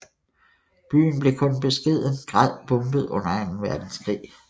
Byen blev kun i beskeden grad bombet under Anden Verdenskrig